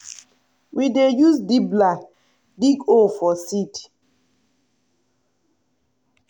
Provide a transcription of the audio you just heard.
we dey use dibbler dig hole for seed.